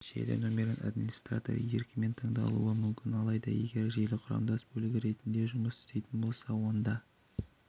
желі нөмірін администратор еркімен таңдалуы мүмкін алайда егер желі құрамдас бөлігі ретінде жұмыс істейтін болса онда